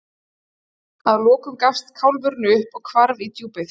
Að lokum gafst kálfurinn upp og hvarf í djúpið.